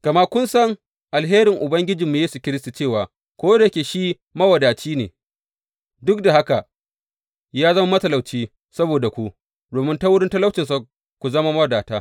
Gama kun san alherin Ubangijinmu Yesu Kiristi cewa ko da yake shi mawadaci ne, duk da haka, ya zama matalauci saboda ku, domin ta wurin talaucinsa, ku zama mawadata.